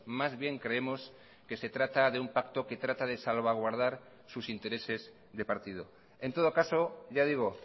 más bien creemos que se trata de un pacto que trata de salvaguardar sus intereses de partido en todo caso ya digo